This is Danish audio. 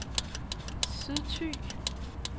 Sydthy